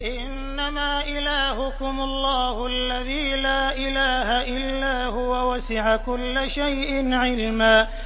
إِنَّمَا إِلَٰهُكُمُ اللَّهُ الَّذِي لَا إِلَٰهَ إِلَّا هُوَ ۚ وَسِعَ كُلَّ شَيْءٍ عِلْمًا